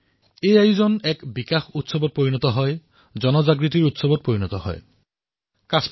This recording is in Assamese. এইদৰে সেই আয়োজন এক বিকাশৰ উৎসৱ হিচাপে পৰিগণিত হৈ পৰিছিল জনসহযোগিতাৰ উৎসৱ হৈ পৰিছিল জনজাগৃতিৰ উৎসৱ হৈ পৰিছিল